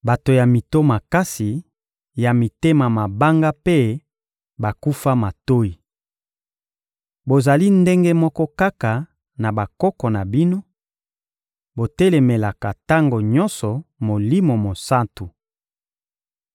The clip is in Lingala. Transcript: Bato ya mito makasi, ya mitema mabanga mpe bakufa matoyi! Bozali ndenge moko kaka na bakoko na bino: botelemelaka tango nyonso Molimo Mosantu!